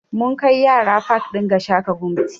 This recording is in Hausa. Mun kai yara pak ɗin Gashaka Gumti